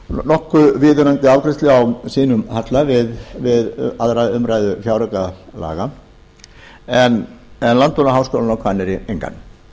nokkuð viðunandi afgreiðslu á sínum halla varðandi aðra umræðu fjáraukalaga en landbúnaðarháskólinn á hvanneyri engan